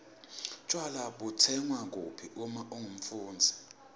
tjwala butsengwa kuphi uma ungumfundzi